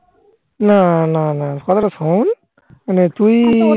না না না. কথাটা শোন মানে তুই